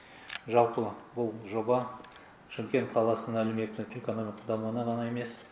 жалпы бұл жоба шымкент қаласының әлеуметтік экономикалық дамуына ғана емес